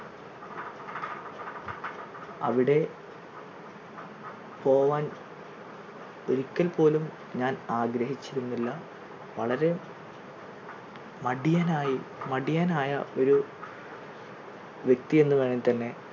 അവിടെ പോകാൻ ഒരിക്കൽ പോലും ഞാൻ ആഗ്രഹിച്ചിരുന്നില്ല വളരെ മടിയനായി മടിയനായ ഒരു വ്യക്തിയെന്ന് വേണെങ്കിൽ തന്നെ,